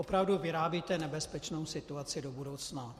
Opravdu vyrábíte nebezpečnou situaci do budoucna.